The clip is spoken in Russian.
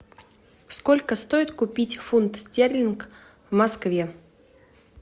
сколько стоит купить фунт стерлинг в москве